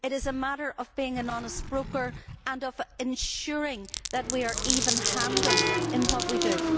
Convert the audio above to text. it is a matter of being an honest broker and of ensuring that we are even handed in what we do.